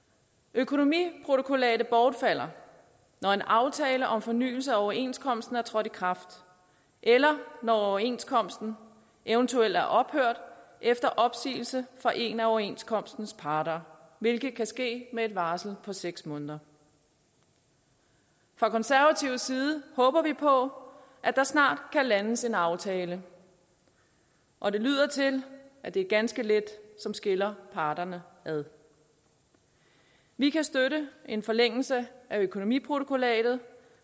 økonomiprotokollatet bortfalder når en aftale om fornyelse af overenskomsten er trådt i kraft eller når overenskomsten eventuelt er ophørt efter opsigelse fra en af overenskomstens parter hvilket kan ske med et varsel på seks måneder fra konservativ side håber vi på at der snart kan landes en aftale og det lyder til at det er ganske lidt der skiller parterne ad vi kan støtte en forlængelse af økonomiprotokollatet